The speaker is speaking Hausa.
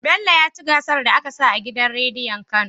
Bello yaci gasar da aka sa a gidan rediyon kano